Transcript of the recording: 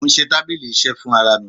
Mò ń ṣe tábílì iṣẹ́ fún ara mi.